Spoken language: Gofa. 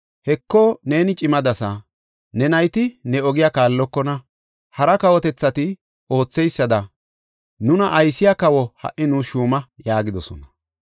“Heko neeni cimadasa; ne nayti ne ogiya kaallokona; hara kawotethati ootheysada nuna aysiya kawo ha77i nuus shuuma” yaagidosona.